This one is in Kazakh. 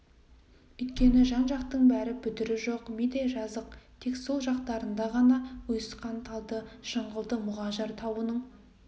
өйткені жан-жақтың бәрі бүдірі жоқ мидай жазық тек сол жақтарында ғана ұйысқан талды жыңғылды мұғажар тауының